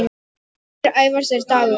Sonur Sævars er Dagur.